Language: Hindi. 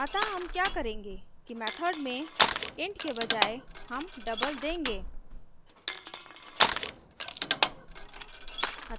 अतः हम क्या करेंगे कि method में int के बजाय हम double देंगे